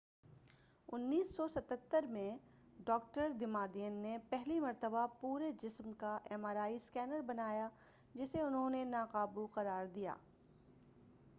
1977ء میں doctor Damadian نے پہلی مرتبہ پورے جسم کا ایم آر آئی اسکینر بنایا جسے انہوں نے ناقابو قرار دیا